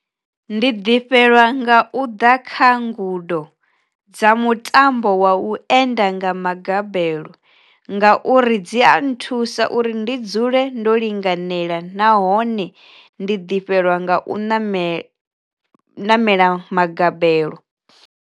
Ndi ḓifhelwa nga u ḓa kha ngudo dza mutambo wa u enda nga magabelo ngauri dzi a nthusa uri ndi dzule ndo linganela nahone ndi ḓi fhelwa nga u namela magabelo.